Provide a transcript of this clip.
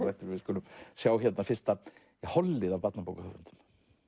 eftir við skulum sjá fyrsta hollið af barnabókahöfundum